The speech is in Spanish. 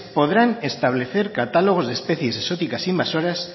podrán establecer catálogos de especies exóticas invasoras